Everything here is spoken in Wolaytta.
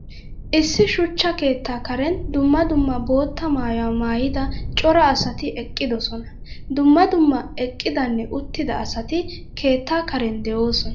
Issi suchcha keetta karen dumma dumma boota maayuwa maayidda cora asatti eqqiddosonna. Dumma dumma eqqidanne uttidda asatti keetta karen de'osonna.